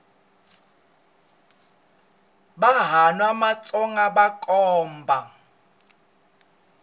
vanhwana va matsonga vakhomba